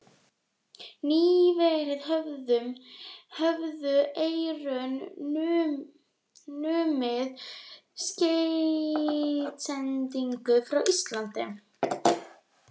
Nýverið höfðu Eyrun numið skeytasendingar frá Íslandi.